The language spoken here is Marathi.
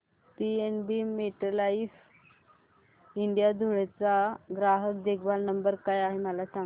पीएनबी मेटलाइफ इंडिया धुळे चा ग्राहक देखभाल नंबर काय आहे मला सांगा